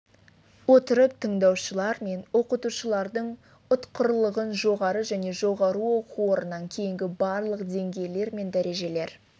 отырып тыңдаушылар мен оқытушылардың ұтқырлығын жоғары және жоғары оқу орнынан кейінгі барлық деңгейлер мен дәрежелер